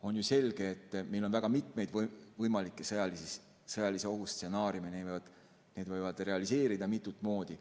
On ju selge, et meil on väga mitmeid võimalikke sõjalise ohu stsenaariume ja need võivad realiseeruda mitut moodi.